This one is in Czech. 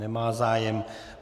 Nemá zájem.